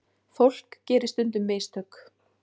Fólk gerir stundum mistök.